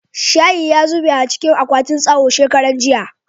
shayi ya zube a cikin akwatin tsawo shekaran jiya